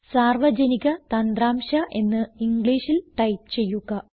സാർവജനിക തന്ത്രാംശ എന്ന് ഇംഗ്ലീഷിൽ ടൈപ്പ് ചെയ്യുക